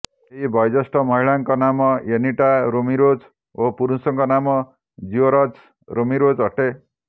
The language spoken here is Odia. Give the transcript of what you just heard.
ଏହି ବୟଜ୍ୟେଷ୍ଠ ମହିଳାଙ୍କ ନାମ ଏନୀଟା ରେମିରୋଜ ଓ ପୁରୁଷଙ୍କ ନାମ ଜିଓର୍ଜ ରେମିରୋଜ ଅଟେ